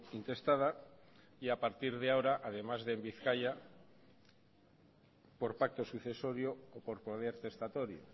intestada y a partir de ahora además de en bizkaia por pacto sucesorio o por poder testatorio